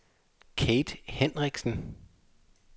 Kathe Hinrichsen